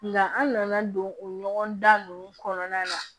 Nka an nana don o ɲɔgɔndan ninnu kɔnɔna na